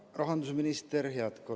Hea rahandusminister!